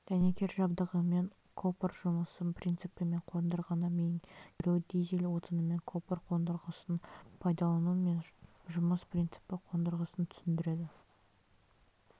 дәнекер жабдығымен копр жұмысы принципі мен қондырғыны меңгеру дизель отынымен копр қондырғысын пайдалану мен жұмыс принципі қондырғысын түсіндіреді